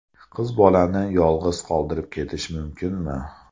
Qiz bolani yolg‘iz qoldirib ketish mumkinmi?